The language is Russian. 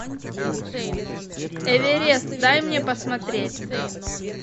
эверест дай мне посмотреть